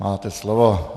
Máte slovo.